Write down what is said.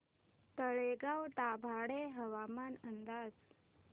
तळेगाव दाभाडे हवामान अंदाज